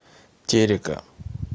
терека